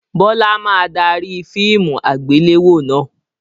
Bọlá máa dárí fíìmù àgbéléwò náà